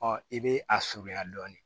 i bɛ a surunya dɔɔnin